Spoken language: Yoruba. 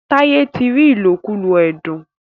Taiye tí rí ilokulo ẹdun.